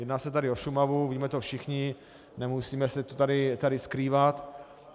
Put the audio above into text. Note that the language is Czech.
Jedná se tady o Šumavu, víme to všichni, nemusíme to tady skrývat.